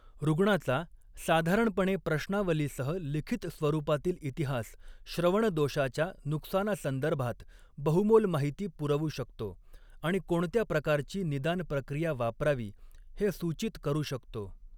रुग्णाचा, साधारणपणे प्रश्नावलीसह लिखित स्वरूपातील इतिहास, श्रवण दोषाच्या नुकसानासंदर्भात बहुमोल माहिती पुरवू शकतो, आणि कोणत्या प्रकारची निदान प्रक्रिया वापरावी हे सूचित करू शकतो.